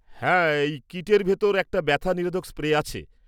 হ্যাঁ, এই কিটের ভিতর একটা ব্যথা নিরোধক স্প্রে আছে।